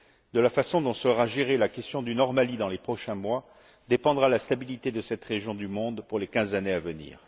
De la façon dont sera gérée la question du Nord Mali, dans les prochains mois, dépendra la stabilité de cette région du monde pour les quinze années à venir.